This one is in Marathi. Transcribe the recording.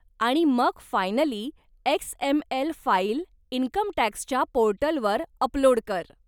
आणि मग फायनली एक्स.एम.एल. फाईल इन्कमटॅक्सच्या पोर्टलवर अपलोड कर.